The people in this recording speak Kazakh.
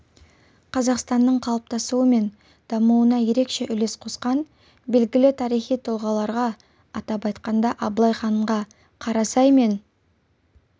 қазақстанның қалыптасуы мен дамуына ерекше үлес қосқан белгілі тарихи тұлғаларға атап айтқанда абылай ханға қарасай мен